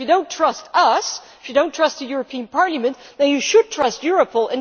If you do not trust us, if you do not trust the European Parliament, then you should trust Europol.